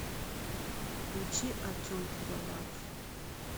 включи артем пивоваров